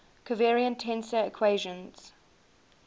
covariant tensor equations